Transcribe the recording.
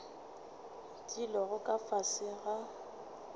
di lego ka fase ga